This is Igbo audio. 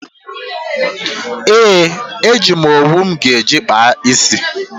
Ee, eji m owu m ga-eji kpaa ísí.